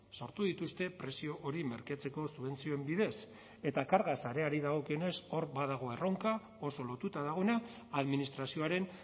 sortu dituzte prezio hori merkatzeko subentzioen bidez eta karga sareari dagokionez hor badago erronka oso lotuta dagoena administrazioaren